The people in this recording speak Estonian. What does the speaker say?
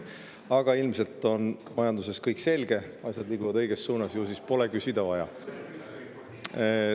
Aga ilmselt on majanduses kõik selge, asjad liiguvad õiges suunas, ju siis pole küsida vaja.